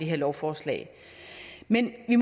her lovforslag men vi